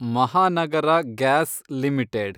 Mahanagara gas limited